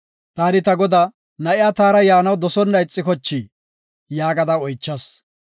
Taani ta godaa, ‘Na7iya taara yaanaw dosona ixikochi?’ yaagada oychas.